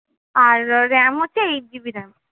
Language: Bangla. আর RAM হচ্ছে eight GBRAM